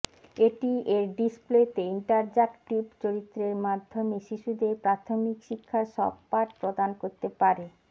এটি এর ডিসপ্লেতে ইন্টার্যাকটিভ চরিত্রের মাধ্যমে শিশুদের প্রাথমিক শিক্ষার সব পাঠ প্রদান করতে পারে